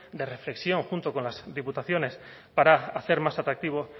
de reflexión junto con las diputaciones para hacer más atractivo